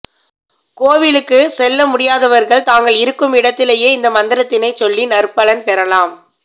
கோவிலுக்கு செல்ல முடியாதவர்கள் தாங்கள் இருக்கும் இடத்திலேயே இந்த மந்திரத்தினை சொல்லி நற்பலன் பெறலாம்